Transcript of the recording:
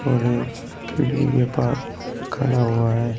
ये खिड़की के पास खड़ा हुआ है।